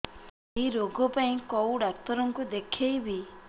ଏଇ ରୋଗ ପାଇଁ କଉ ଡ଼ାକ୍ତର ଙ୍କୁ ଦେଖେଇବି